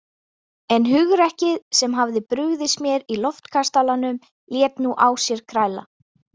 En hugrekkið sem hafði brugðist mér í Loftkastalanum lét nú á sér kræla.